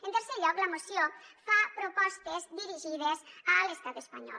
en tercer lloc la moció fa propostes dirigides a l’estat espanyol